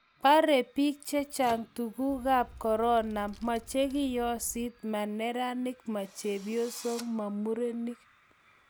borei biik che chang' tunguikab korona, ma che kiyosit, ma neranik, ma chepyosok, ma murenik